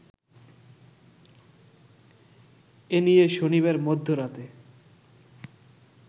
এনিয়ে শনিবার মধ্যরাতে